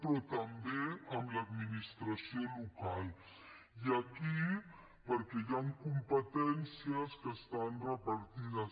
però també amb l’administració local perquè hi han competències que estan repartides